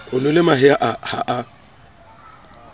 o nwele mahe ha a